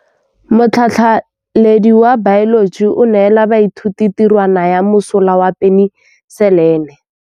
Motlhatlhaledi wa baeloji o neela baithuti tirwana ya mosola wa peniselene.